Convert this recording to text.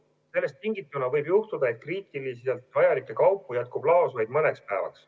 Sellest tingituna võib juhtuda, et kriitiliselt vajalikke kaupu jätkub laos vaid mõneks päevaks.